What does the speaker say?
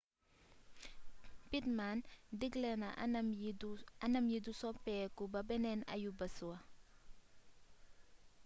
pittman diggle na anam yi du soppeeku ba beneen ayubés wa